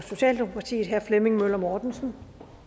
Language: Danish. socialdemokratiet herre flemming møller mortensen